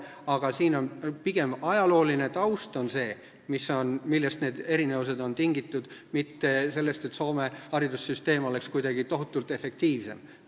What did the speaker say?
Erinevused on tingitud pigem ajaloolisest taustast, mitte sellest, et Soome haridussüsteem oleks tohutult efektiivsem.